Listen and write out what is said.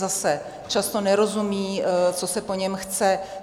Zase - často nerozumí, co se po něm chce.